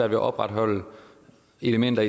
at opretholde elementer